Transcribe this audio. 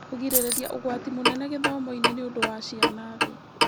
Kũgirĩrĩria ũgwati mũnene gĩthomo-inĩ nĩũndũ wa ciana thĩ.